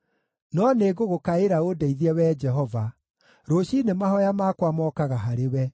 No nĩngũgũkaĩra ũndeithie, Wee Jehova; rũciinĩ mahooya makwa mokaga harĩwe.